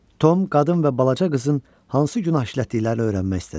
Tom qadın və balaca qızın hansı günah işlətdiklərini öyrənmək istədi.